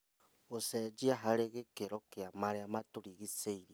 Gũcenjia harĩ gĩkĩro kĩa marĩa matũrigicĩirie